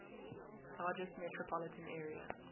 largest metropolitan area